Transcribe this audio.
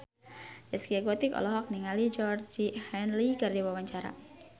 Zaskia Gotik olohok ningali Georgie Henley keur diwawancara